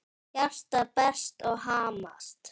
Hjartað berst og hamast.